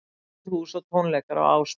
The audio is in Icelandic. Opið hús og tónleikar á Ásbrú